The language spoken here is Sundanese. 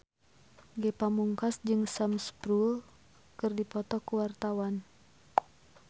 Ge Pamungkas jeung Sam Spruell keur dipoto ku wartawan